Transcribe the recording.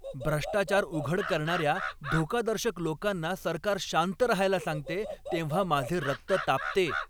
भ्रष्टाचार उघड करणाऱ्या धोकादर्शक लोकांना सरकार शांत रहायला सांगते तेव्हा माझे रक्त तापते.